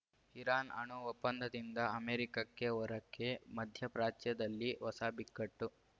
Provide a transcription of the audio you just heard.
Iran ಅಣು ಒಪ್ಪಂದದಿಂದ ಅಮೆರಿಕಕ್ಕೆ ಹೊರಕ್ಕೆ ಮಧ್ಯ ಪ್ರಾಚ್ಯದಲ್ಲಿ ಹೊಸ ಬಿಕ್ಕಟ್ಟು